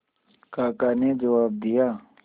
काका ने जवाब दिया